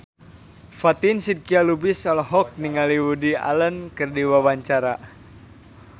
Fatin Shidqia Lubis olohok ningali Woody Allen keur diwawancara